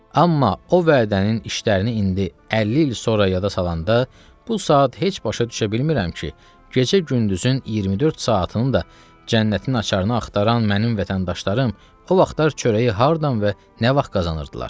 Amma o vədənin işlərini indi 50 il sonra yada salanda, bu saat heç başa düşə bilmirəm ki, gecə-gündüzün 24 saatını da cənnətin açarını axtaran mənim vətəndaşlarım o vaxtlar çörəyi hardan və nə vaxt qazanırdılar.